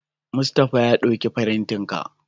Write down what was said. Mustapha ya dauki firintan ka.